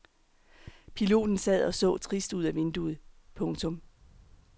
Piloten sad og så trist ud ad vinduet. punktum